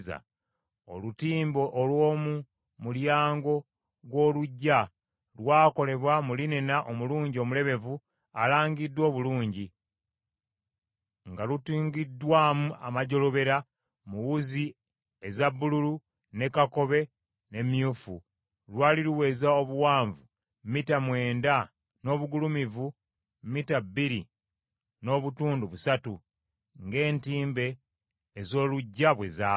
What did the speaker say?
Olutimbe olw’omu mulyango gw’oluggya lwakolebwa mu linena omulungi omulebevu alangiddwa obulungi, nga lutungiddwamu amajjolobera mu wuzi eza bbululu, ne kakobe ne myufu. Lwali luweza obuwanvu mita mwenda n’obugulumivu mita bbiri n’obutundu busatu, ng’entimbe ez’oluggya bwe zaali.